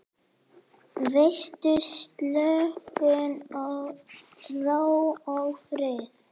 Veitir slökun, ró og frið.